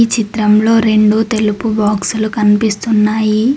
ఈ చిత్రంలో రెండు తెలుపు బాక్సులు కన్పిస్తున్నాయి.